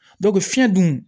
fiɲɛ dun